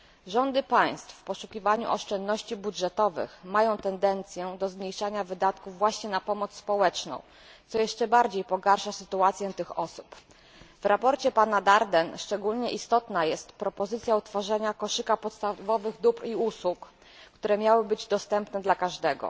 Rządy państw w poszukiwaniu oszczędności budżetowych mają tendencję do zmniejszania wydatków właśnie na pomoc społeczną, co jeszcze bardziej pogarsza sytuację tych osób. W sprawozdaniu Frédérica Daerdena szczególnie istotna jest propozycja utworzenia koszyka podstawowych dóbr i usług, które miałyby być dostępne dla każdego.